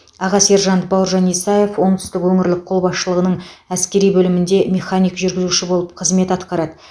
аға сержант бауыржан исаев оңтүстік өңірлік қолбасшылығының әскери бөлімінде механик жүргізуші болып қызмет атқарады